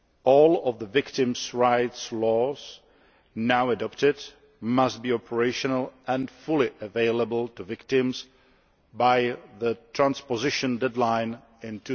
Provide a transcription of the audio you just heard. All the victims' rights laws now adopted must be operational and fully available to victims by the transposition deadline in